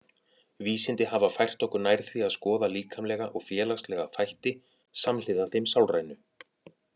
Vísindi hafa fært okkur nær því að skoða líkamlega og félagslega þætti samhliða þeim sálrænu.